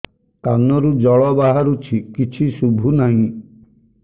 କାନରୁ ଜଳ ବାହାରୁଛି କିଛି ଶୁଭୁ ନାହିଁ